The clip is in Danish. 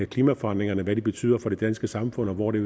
klimaforandringerne hvad de betyder for det danske samfund og hvor det